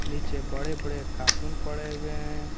नीचे बड़े बड़े कार्टून पड़े हुए हैं।